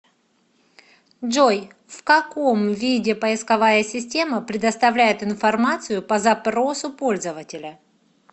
джой в каком виде поисковая система предоставляет информацию по запросу пользователя